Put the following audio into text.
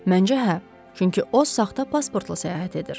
Məncə hə, çünki o saxta pasportla səyahət edir.